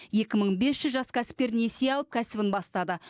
екі мың бес жүз жас кәсіпкер несие алып кәсібін бастады